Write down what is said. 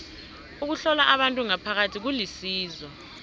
ukuhlola abantu ngaphakathi kulisizo